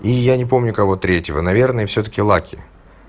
и я не помню кого третьего наверное всё-таки лаки